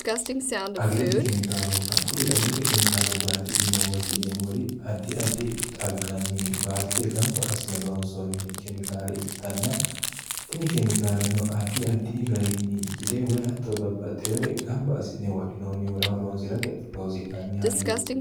irkuri agirote kemikaalu baati yine woshshineemmori addi addi xagganni baadite gamba asine loonsoonni kemikaale ikkitanna tini kemikaaleno addi addi garinni gide woy hatto babbaxxiwore gamba asi'ne wodhinoonnihurahoroonsi'rate loosi'nanni hayyooti